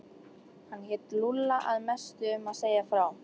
Hann lét Lúlla að mestu um að segja frá.